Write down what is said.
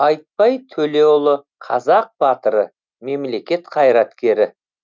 айтбай төлеұлы қазақ батыры мемлекет қайраткері